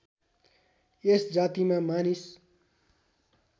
यस जातिमा मानिस